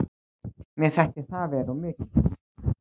Mér þætti það vera of mikið.